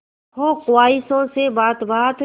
हो ख्वाहिशों से बात बात